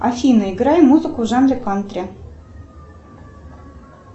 афина играй музыку в жанре кантри